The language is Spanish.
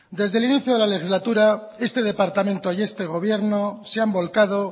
desde el inicio de la legislaturaeste departamento y este gobierno se han volcado